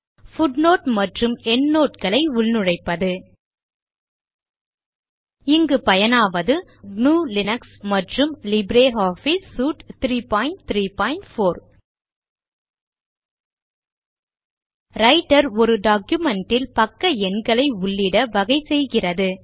footnote மற்றும் endnote களை உள்நுழைப்பது இங்கு பயனாவது gnuஉபுண்டு மற்றும் லிப்ரியாஃபிஸ் சூட் 334 ரைட்டர் ஒரு டாக்குமென்ட் இல் பக்க எண்களை உள்ளிட வகை செய்கிறது